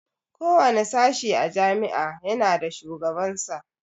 Kowane sashe a jami'a ya na da shugaban sa